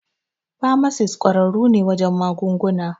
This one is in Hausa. Famasis ƙwararru ne wajen magunguna.